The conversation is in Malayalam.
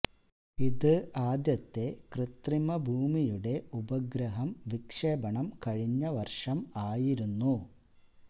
ഇത് ആദ്യത്തെ കൃത്രിമ ഭൂമിയുടെ ഉപഗ്രഹം വിക്ഷേപണം കഴിഞ്ഞ് വർഷം ആയിരുന്നു